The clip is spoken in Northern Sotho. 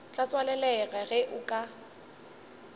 tla tswalelega ge o ka